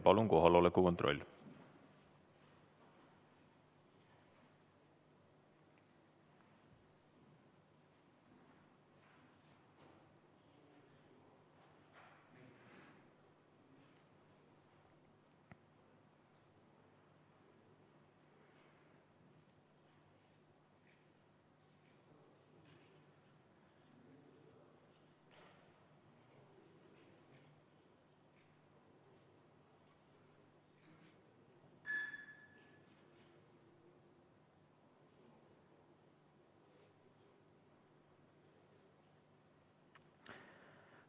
Palun kohaloleku kontroll!